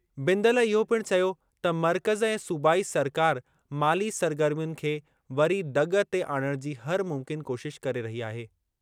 बिंदल इहो पिणु चयो त मर्कज़ ऐं सूबाई सरकार माली सरगर्मियुनि खे वरी दॻ ते आणणु जी हर मुमकिन कोशिश करे रही आहे।